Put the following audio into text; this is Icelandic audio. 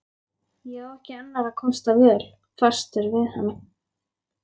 Á ekki annarra kosta völ, fastur við hana.